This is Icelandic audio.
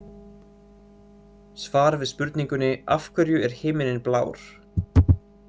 Svar við spurningunni Af hverju er himinninn blár?